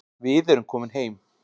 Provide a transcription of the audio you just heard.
Við erum komin heim